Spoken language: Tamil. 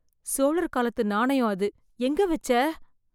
சோழர் காலத்து நாணயம் அது, எங்க வச்ச?